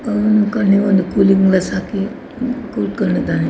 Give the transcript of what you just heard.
ಕಣ್ಣಿಗೆ ಒಂದು cooling glass ಹಾಕಿ ಕೂತ್ಕೊಂಡಿದ್ದಾನೆ.